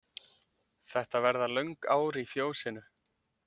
Þetta verða löng ár í fjósinu.